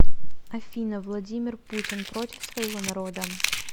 афина владимир путин против своего народа